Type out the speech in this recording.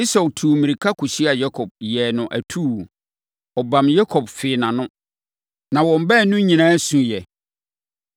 Esau tuu mmirika kɔhyiaa Yakob, yɛɛ no atuu. Ɔbam Yakob, fee nʼano. Na wɔn baanu nyinaa suiɛ.